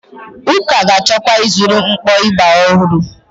Ụka ga-achọkwa ịzụrụ mkpọ ịgbà ọhụrụ.